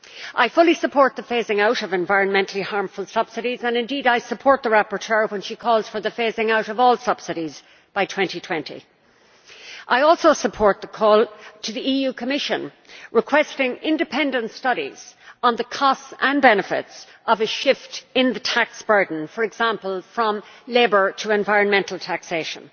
I fully support the phasing out of environmentally harmful subsidies and indeed I support the rapporteur when she calls for the phasing out of all subsidies by 2020. I also support the call to the Commission requesting independent studies on the costs and benefits of a shift in the tax burden, for example from labour to environmental taxation.